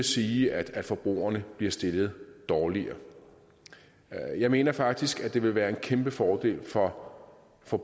sige at forbrugerne bliver stillet dårligere jeg mener faktisk at det vil være en kæmpe fordel for for